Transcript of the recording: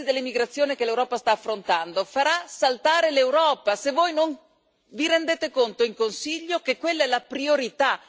La crisi dell'emigrazione che l'Europa sta affrontando farà saltare l'Europa, se voi non vi rendete conto in Consiglio che quella è la priorità.